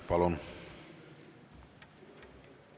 Palun!